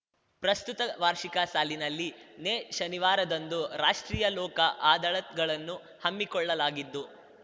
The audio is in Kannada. ಪ್ರಸ್ತುತ ವಾರ್ಷಿಕ ಸಾಲಿನಲ್ಲಿ ನೇ ಶನಿವಾರದಂದು ರಾಷ್ಟ್ರೀಯ ಲೋಕ ಅದಾಳತ್ ಗಳನ್ನು ಹಮ್ಮಿಕೊಳ್ಳಲಾಗಿದ್ದು